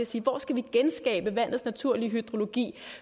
siger hvor skal vi genskabe vandets naturlige hydrologi